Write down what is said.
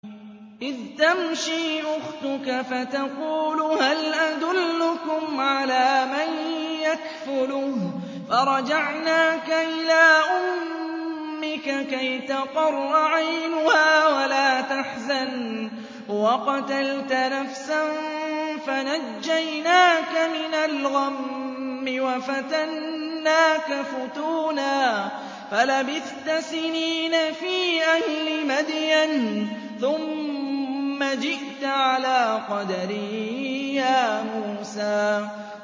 إِذْ تَمْشِي أُخْتُكَ فَتَقُولُ هَلْ أَدُلُّكُمْ عَلَىٰ مَن يَكْفُلُهُ ۖ فَرَجَعْنَاكَ إِلَىٰ أُمِّكَ كَيْ تَقَرَّ عَيْنُهَا وَلَا تَحْزَنَ ۚ وَقَتَلْتَ نَفْسًا فَنَجَّيْنَاكَ مِنَ الْغَمِّ وَفَتَنَّاكَ فُتُونًا ۚ فَلَبِثْتَ سِنِينَ فِي أَهْلِ مَدْيَنَ ثُمَّ جِئْتَ عَلَىٰ قَدَرٍ يَا مُوسَىٰ